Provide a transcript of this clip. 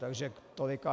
Takže tolik.